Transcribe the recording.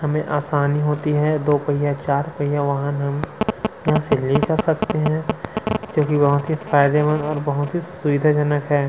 हमे आसानी होती है दो पहिये चार पहिये वाहन ले जा सकते है जोकि बहोत फायदेमंद ओर बहोत ही सुविधाजनक है।